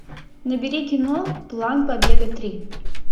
набери кино план побега три